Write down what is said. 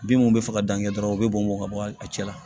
Bin mun be fɛ ka dan kɛ dɔrɔn u be bɔnbɔn ka bɔ a cɛ la